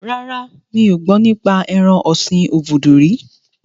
Rárá, mi ò gbọ́ nípa ẹran ọ̀sin obudu rí